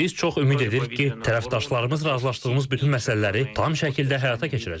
Biz çox ümid edirik ki, tərəfdaşlarımız razılaşdığımız bütün məsələləri tam şəkildə həyata keçirəcəklər.